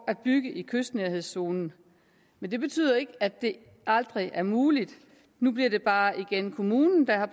at bygge i kystnærhedszonen men det betyder ikke at det aldrig er muligt nu bliver det bare igen kommunen der har